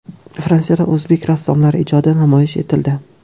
Fransiyada o‘zbek rassomlari ijodi namoyish etildi.